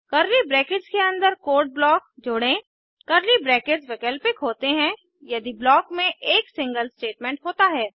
curly brackets के अन्दर code block जोड़ें कर्ली ब्रैकेट्स वैकल्पिक होते हैं यदि ब्लॉक में एक सिंगल स्टेटमेंट होता है